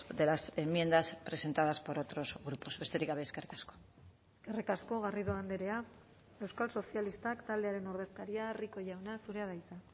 de las enmiendas presentadas por otros grupos besterik gabe eskerrik asko eskerrik asko garrido andrea euskal sozialistak taldearen ordezkaria rico jauna zurea da hitza